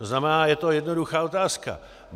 To znamená, je to jednoduchá otázka.